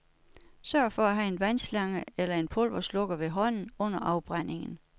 Sørg for at have en haveslange eller en pulverslukker ved hånden under afbrændingen.